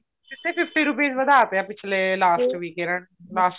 ਸਿੱਧਾ fifty rupees ਵੱਧਾ ਤਾਂ last week ਇਹਨਾ ਨੇ last